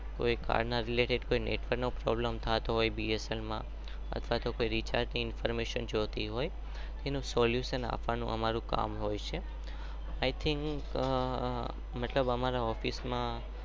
કોઈ કર ના રીલેટેડ બ્સ્ન્લ માં કોઈ રીચાર્ગ ની